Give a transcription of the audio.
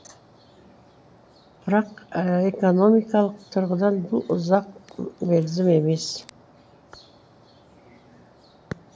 бірақ экономикалық тұрғыдан бұл ұзақ мерзім емес